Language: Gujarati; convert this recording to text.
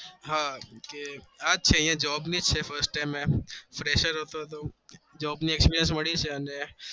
હા આ જ છ job first time fresher પેલી વાર થયું છે